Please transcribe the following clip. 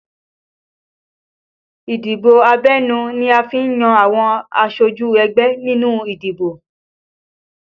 Ìdìbò abẹ́nú ni a fi n yan àwọn aṣojú ẹgbẹ́ nínú ìdìbò